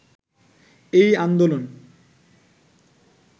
এই আন্দোলন